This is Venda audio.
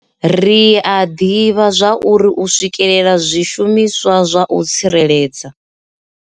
Ri a ḓivha zwauri u swikela zwishumiswa zwa u tsireledza.